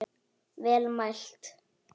Vel mælt.